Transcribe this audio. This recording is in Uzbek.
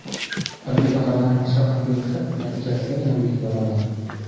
Oddiy odamlar mashaqqatli mehnat natijasidagina buyuk bo‘la oladi.